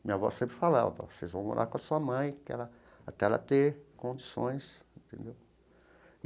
Minha avó sempre falava, vocês vão morar com a sua mãe até ela até ela ter condições, entendeu?